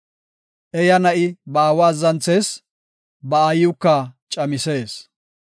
Eaya na7i ba aawa azzanthees; ba aayiwuka camisees.